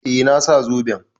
Eh, na sa zoben.